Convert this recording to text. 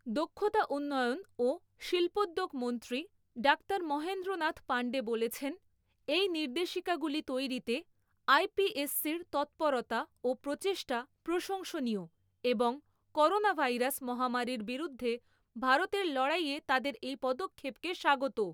দক্ষতা উন্নয়ন ও শিল্পোদ্যোগ মন্ত্রী ডাক্তার মহেন্দ্র নাথ পান্ডে বলেছেন, এই নির্দেশিকাগুলি তৈরিতে আইপিএসসির তৎপরতা ও প্রচেষ্টা প্রশংসনীয় এবং করোনাভাইরাস মহামারীর বিরুদ্ধে ভারতের লড়াইয়ে তাদের এই পদক্ষেপকে স্বাগত।